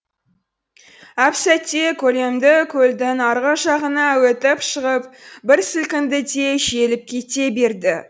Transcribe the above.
әп сәтте көлемді көлдің арғы жағына өтіп шығып бір сілкінді де желіп кете берді